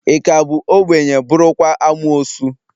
Ị ka bụ obenye, bụrụkwa amuosu?